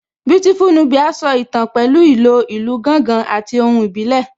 Beautiful Nubia so ìtàn pẹ̀lú ìlò ìlù gángan àti ohùn ìbílẹ̀